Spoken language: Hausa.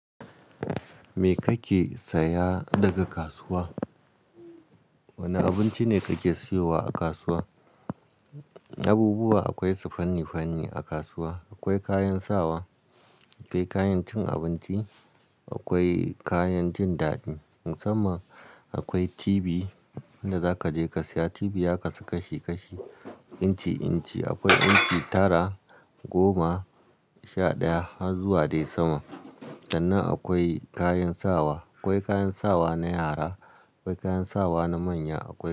Me kake saya daga kasuwa? Wane abinci ne kake siyowa a kasuwa? Abubuwa akwai su fanni-fanni a kasuwa. Akwai kayan sawa, akwai kayan cin abinci, akwai kayan jin daɗi. Musamman akwai tibi wanda zaka je ka saya. Tibi ya kasu kashi-kashi, inci-inci. Akwai inci tara, goma, sha ɗaya har zuwa dai sama. Danna akwai kayan sawa. Akwai kayan sawa na yara, akwai kayan sawa na manya, akwai.